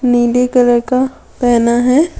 नीले कलर का पहना है।